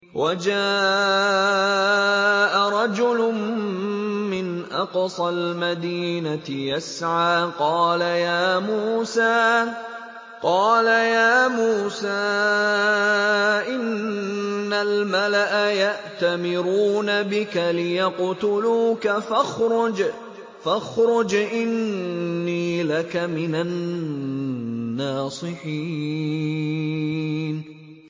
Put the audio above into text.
وَجَاءَ رَجُلٌ مِّنْ أَقْصَى الْمَدِينَةِ يَسْعَىٰ قَالَ يَا مُوسَىٰ إِنَّ الْمَلَأَ يَأْتَمِرُونَ بِكَ لِيَقْتُلُوكَ فَاخْرُجْ إِنِّي لَكَ مِنَ النَّاصِحِينَ